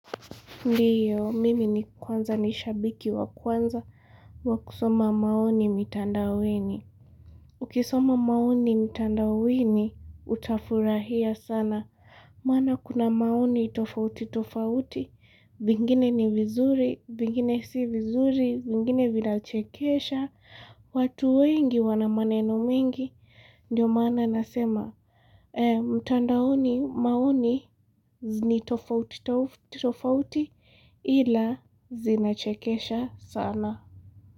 Ndio, mimi ni kwanza ni shabiki wa kwanza wa kusoma maoni mitanda ueni. Ukisoma maoni mitanda ueni, utafurahia sana. Maana kuna maoni tofauti tofauti, vingine ni vizuri, vingine si vizuri, vingine vinachekesha. Watu wengi wana maneno mengi, ndio maana nasema mtandaoni maoni ni tofauti tofauti ila zinachekesha sana.